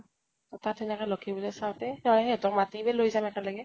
তাতে থাকে লক্ষী পূজা চাওতে তই সিহঁতক মাতিবি, লৈ যাম একেলগে।